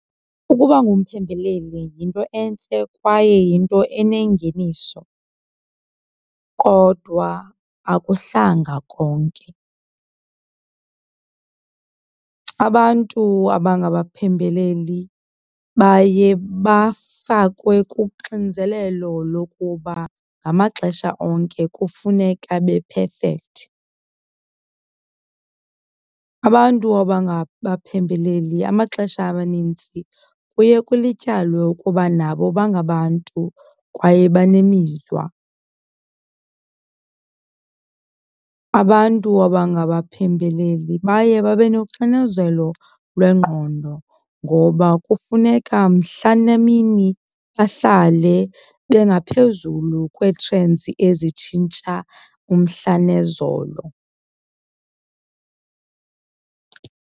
Ukuba ngumphembeleli yinto entle kwaye yinto enengeniso, kodwa akuhlanga konke. Abantu abangabaphembeleli baye bafakwe kuxinzelelo lokuba ngamaxesha onke kufuneka be-perfect. Abantu abangabaphembeleli amaxesha amanintsi kuye kulityalwe ukuba nabo bangabantu kwaye banemizwa. Abantu abangabaphembeleli baye babe noxinezelo lwengqondo ngoba kufuneka mhla nemini bahlale bengaphezulu kwee-trends ezitshintsha umhla nezolo.